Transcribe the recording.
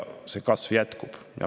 See kasv jätkub.